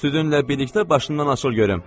Südünlə birlikdə başından açıl görüm.